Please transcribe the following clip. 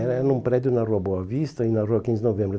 Era era num prédio na Rua Boa Vista e na Rua quinze de Novembro.